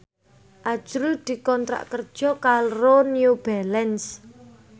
azrul dikontrak kerja karo New Balance